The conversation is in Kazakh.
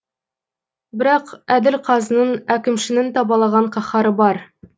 бірақ әділ қазының әкімшінің табалаған қаһары бар